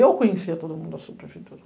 Eu conhecia todo mundo da subprefeitura.